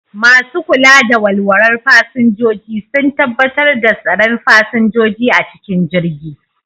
Masu kula da walwalar fasinjoji sun tabbatar da tsaron fasinjoji a cikin jirgi